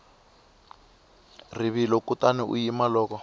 rivilo kutani u yima loko